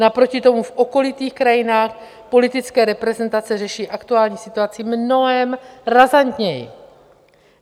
Naproti tomu v okolních krajinách politické reprezentace řeší aktuální situaci mnohem razantněji.